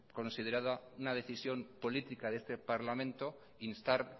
considerada una decisión política de este parlamento instar